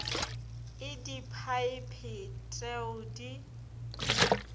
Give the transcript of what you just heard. e diphaephe t eo di